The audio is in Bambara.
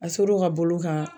A ser'o ka bolo kan